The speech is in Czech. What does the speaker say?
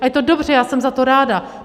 A je to dobře, já jsem za to ráda.